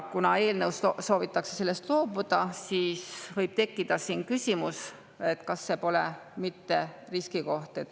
Kuna eelnõus soovitakse sellest loobuda, siis võib tekkida küsimus, kas see pole mitte riskikoht.